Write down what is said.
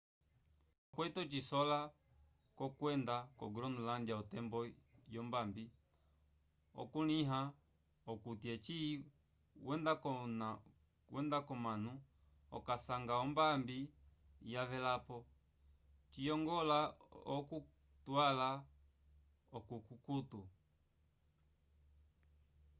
nda okwete ocisola c’okwenda ko-groenlândia otembo yombambi okukulĩha okuti eci wenda k’onano okasanga ombambi yavelapo ciyongola okutwala ovikukutu